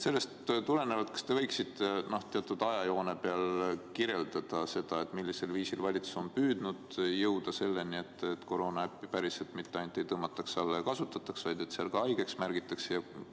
Sellest tulenevalt: kas te võiksite teatud ajajoone abil kirjeldada, millisel viisil valitsus on püüdnud jõuda selleni, et koroonanäppi mitte ainult ei tõmmataks alla ja kasutataks, vaid end seal ka haigeks märgitaks?